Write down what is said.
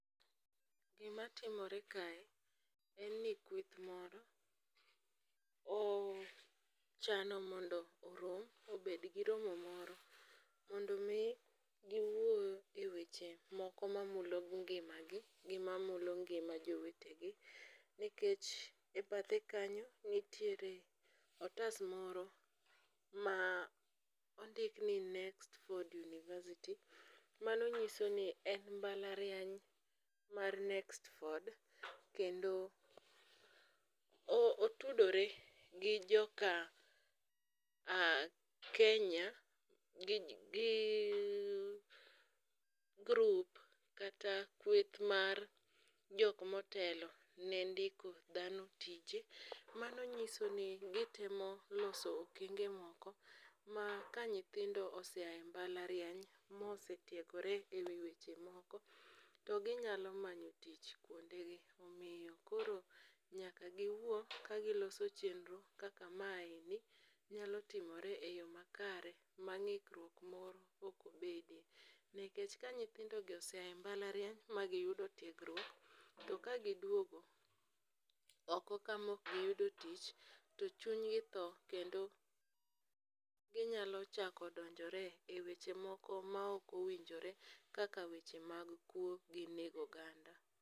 Gimatimore kae en ni kweth moro, ochano mondo orom, obed gi romo moro mondo omi giwuo e weche moko mamulo ngimagi gi mamulo ngima jowetegi nikech e bathe kanyo, nitiere otas moro ma ondik ni Nextford University ,mano nyiso ni en mbalariany mar Nextford, kendo otudore gi joka Kenya gi group kata kweth mar jok motelo ne ndiko dhano tije, mano nyiso i gitemo loso okenge moko ma ka nyithindo oseya e mbalariany mosetiegore e wi weche moko, to ginyalo manyo tich kwondegi. Omiyo koro nyaka giwuo kagiloso chenro kaka maeni nyalo timore e yo makare ma ng'ikruok moro ok obede, nikech ka nyithindogi oseya e mbalariany magiyudo tiegruok, ma gidwogo oko ka ma ok giyudo tich, to chunygi tho kendo ginyalo chako donjore e weche moko ma ok owinjore kaka weche mag kuwo gi nego oganda.